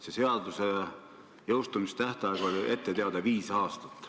Selle seaduse jõustumise tähtaeg on ette teada olnud viis aastat.